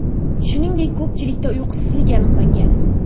Shuningdek, ko‘pchilikda uyqusizlik aniqlangan.